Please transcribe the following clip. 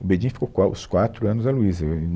O Bedin ficou qua os quatro anos da Luíza, é, e